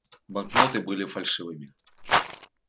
банкноты были фальшивыми